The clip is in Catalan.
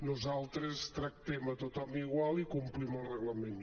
nosaltres tractem a tothom igual i complim el reglament